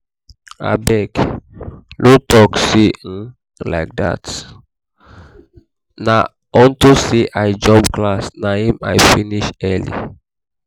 abeg no dey talk um like dat um na unto say i jump class na im i finish early